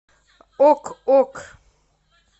ок ок